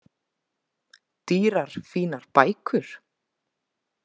Dýrar fínar bækur.